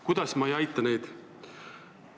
Kuidas ma ei aita neid?